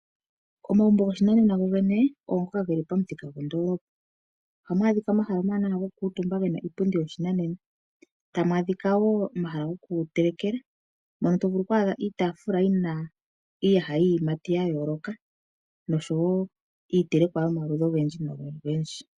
Omagumbo goshinanena gogene ogo ngoka ge li pamuthika gondoolopa. Ohamu adhika omahala omawanawa gokukuutumba ge na iipundi yopashinanena, tamu adhika wo omahala gokutelekela mono hamu adhika iitaafula yi na iiyaha yiiyimati ya yooloka noshowo iitelekwa yomaludhi ogendji.